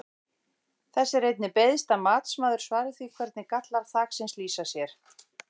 Þess er einnig beiðst að matsmaður svari því hvernig gallar þaksins lýsa sér?